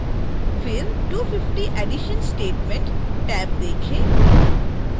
फिर 250 edition statement tab देखें